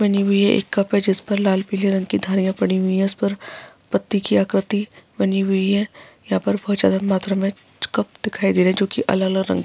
बनी हुई है एक कप है जिस पे लाल पिले रंग की धारियां पड़ी हुई हैं उस पर पट्टी की आकृति बनी हुई है यहाँ पर बहुत ज्यादा मात्रा में कुछ कप दिखाई दे रहे है जो की अलग-अलग रंग --